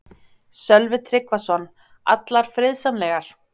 Sölvi Tryggvason: Allar friðsamlegar?